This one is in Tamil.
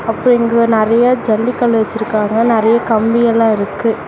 அப்ப இங்க நறைய ஜல்லிக்கல்லு வச்சிருக்காங்க நறைய கம்பியெல்லா இருக்கு.